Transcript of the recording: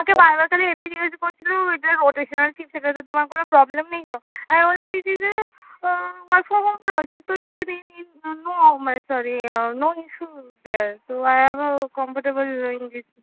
আমাকে বার বার খালি এটাই জিজ্ঞাসা করছিলো এইটা rotational shift সেটাতে তোমার কোনো problem নেই তো, আমি বললাম this is a uh work from project তো